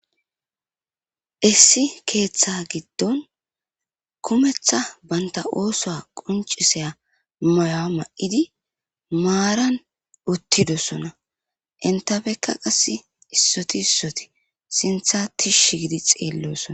Issi keeththa giddon kumetha banta ooso quncisaya mayoa ma7idi maaran uttidosona intafekka qass issoti issoti sintha tishi gidi xeellosona